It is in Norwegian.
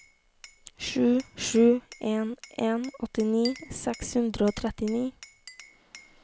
sju sju en en åttini seks hundre og trettini